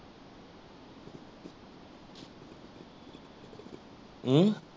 अ?